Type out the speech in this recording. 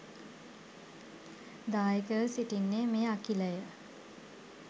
දායකව සිටින්නේ මේ අඛිලය